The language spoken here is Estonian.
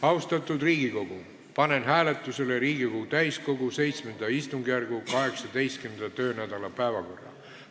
Austatud Riigikogu, panen hääletusele Riigikogu täiskogu VII istungjärgu 18. töönädala päevakorra.